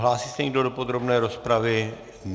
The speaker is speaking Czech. Hlásí se někdo do podrobné rozpravy?